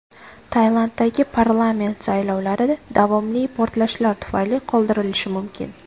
Tailanddagi parlament saylovlari davomli portlashlar tufayli qoldirilishi mumkin.